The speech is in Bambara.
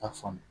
K'a faamu